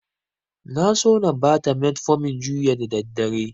Na so na bata metfomin juya da daddare.